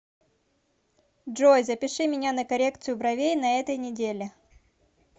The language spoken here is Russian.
джой запиши меня на коррекцию бровей на этой неделе